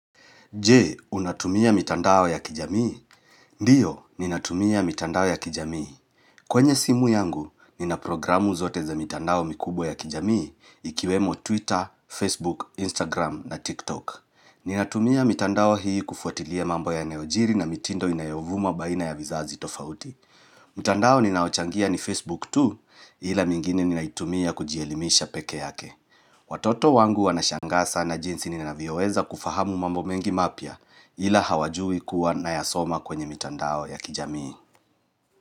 Jee, unatumia mitandao ya kijamii? Ndiyo, ninatumia mitandao ya kijamii. Kwenye simu yangu, nina programu zote za mitandao mikubwa ya kijamii, ikiwemo Twitter, Facebook, Instagram na TikTok. Ninatumia mitandao hii kufuatilia mambo yaneojiri na mitindo inayovuma baina ya vizazi tofauti. Mutandao ninao changia ni Facebook tu, ila mingine ninaitumia kujielimisha peke yake. Watoto wangu wanashanga sana jinsi ninavioweza kufahamu mambo mengi mapia. Ila hawajui kuwa nayasoma kwenye mitandao ya kijamii.